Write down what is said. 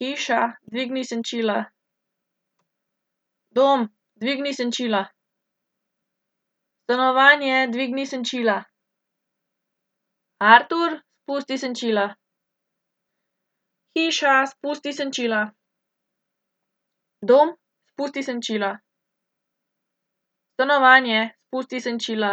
Hiša, ugasni luči. Hiša, ugasni vse luči. Dom, ugasni luči. Dom, ugasni vse luči. Stanovanje, ugasni luči. Stanovanje, ugasni vse luči. Artur, dvigni senčila. Hiša, dvigni senčila. Dom, dvigni senčila. Stanovanje, dvigni senčila. Artur, spusti senčila. Hiša, spusti senčila. Dom, spusti senčila. Stanovanje, spusti senčila.